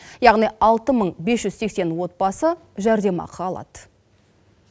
яғни алты мың бес жүз сексен отбасы жәрдемақы алады